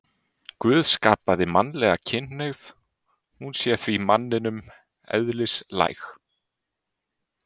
Guð hafi skapað mannlega kynhneigð, hún sé því manninum eðlislæg.